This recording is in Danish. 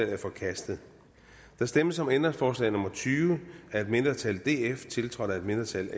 er forkastet der stemmes om ændringsforslag nummer tyve af et mindretal tiltrådt af et mindretal